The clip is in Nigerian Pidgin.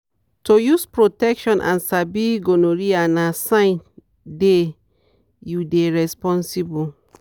to use protection and sabi gonorrhea na sign day you dey responsible